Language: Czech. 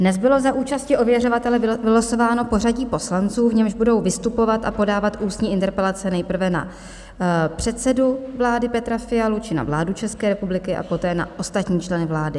Dnes bylo za účasti ověřovatele vylosováno pořadí poslanců, v němž budou vystupovat a podávat ústní interpelace nejprve na předsedu vlády Petra Fialu či na vládu České republiky a poté na ostatní členy vlády.